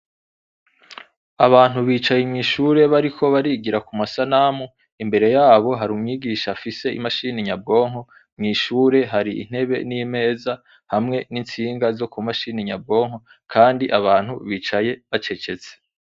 Abantu bicaye mw'ishure bariko barigira ku masanamu. Imbere yabo hari umwigisha afise imashini nyabwonko. Mw'ishure hari intebe n'imeza hamwe n'intsinga zo ku mashini nyabwonko kandi abantu bicaye bacecetse.